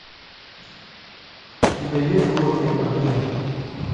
у тебя есть горные огни